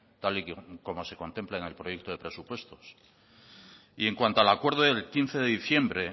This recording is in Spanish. tal y como se contempla en el proyecto de presupuestos y en cuanto al acuerdo del quince de diciembre